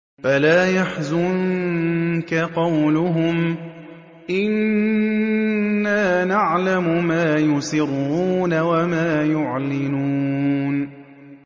فَلَا يَحْزُنكَ قَوْلُهُمْ ۘ إِنَّا نَعْلَمُ مَا يُسِرُّونَ وَمَا يُعْلِنُونَ